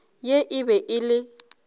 ye e be e le